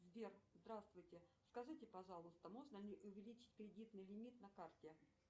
сбер здравствуйте скажите пожалуйста можно ли увеличить кредитный лимит на карте